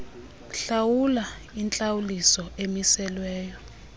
hlawula intlawuliso emiselweyo